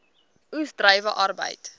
oes druiwe arbeid